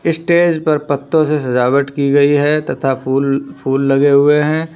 Stage पर पत्तों से सजावट की गई है तथा फूल फूल लगे हुए हैं।